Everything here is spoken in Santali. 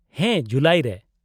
-ᱦᱮᱸ, ᱡᱩᱞᱟᱭ ᱨᱮ ᱾